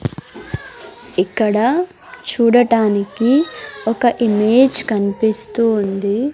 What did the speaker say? ఇక్కడ చూడటానికి ఒక ఇమేజ్ కన్పిస్తూ ఉంది.